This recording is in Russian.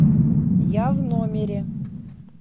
я в номере